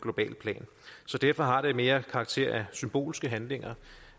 så derfor har det mere karakter af symbolske handlinger